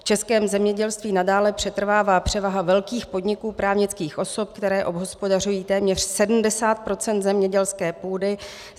V českém zemědělství nadále přetrvává převaha velkých podniků právnických osob, které obhospodařují téměř 70 % zemědělské půdy.